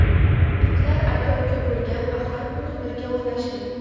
Itlar aka-uka bo‘lgan va har kuni birga o‘ynashgan.